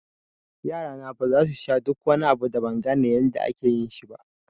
Yarana baza su sha duk wani abu da ban gane yadda ake yin shi ba